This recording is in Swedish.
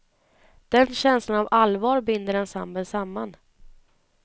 Den känslan av allvar binder ensemblen samman.